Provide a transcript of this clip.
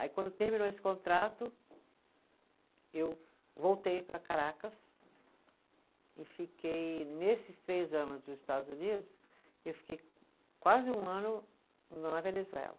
Aí quando terminou esse contrato, eu voltei para Caracas e fiquei, nesses três anos nos Estados Unidos, eu fiquei quase um ano na Venezuela.